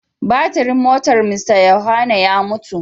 Batirin motar Mr Yohanna ya mutu.